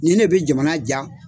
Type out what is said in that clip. Nin ne bi jamana ja